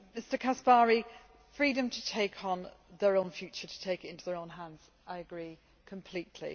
that. Mr Caspary, freedom to take on their own future to take into their own hands I agree completely.